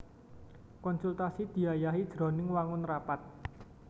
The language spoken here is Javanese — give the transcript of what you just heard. Konsultasi diayahi jroning wangun rapat